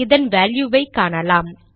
இதன் வேல்யுவை காணலாம்